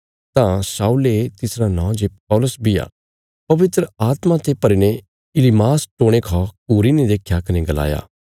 तां शाऊले तिसरा नौं जे पौलुस बी आ पवित्र आत्मा ते भरी ने इलीमास टोणे खा घूरीने देख्या कने गलाया